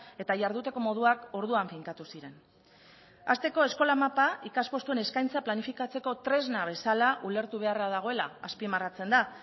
eta jarduteko moduak orduan finkatu ziren hasteko eskola mapa ikaspostuen eskaintza planifikatzeko tresna bezala ulertu beharra dagoela azpimarratzen da